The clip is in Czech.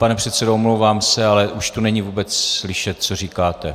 Pane předsedo, omlouvám se, ale už tu není vůbec slyšet, co říkáte.